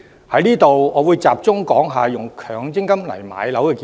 就此，我會集中談談動用強積金置業的建議。